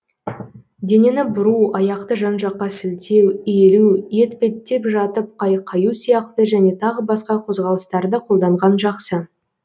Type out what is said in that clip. денені бұру аяқты жан жаққа сілтеу иілу етпеттеп жатып қайқаю сияқты және тағы басқа қозғалыстарды қолданған жақсы